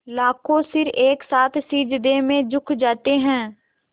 लाखों सिर एक साथ सिजदे में झुक जाते हैं